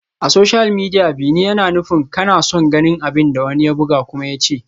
A social media, "bi ni" yana nufin kana son ganin abin da wani ya buga kuma ya ce.